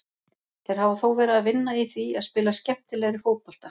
Þeir hafa þó verið að vinna í því að spila skemmtilegri fótbolta.